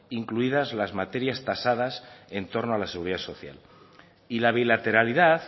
incluidas la materias tasadas en torno a la seguridad social y la bilateralidad